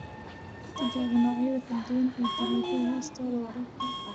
Ku tijaabi noocyada kala duwan ee dalagyada hoostooda waraabka.